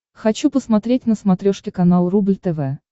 хочу посмотреть на смотрешке канал рубль тв